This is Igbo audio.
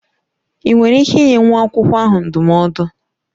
Ị nwere ike ịnye nwa akwụkwọ ahụ ndụmọdụ?